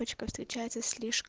встречается с